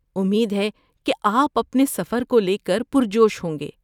امید ہے کہ آپ اپنے سفر کو لے کر پرجوش ہوں گے۔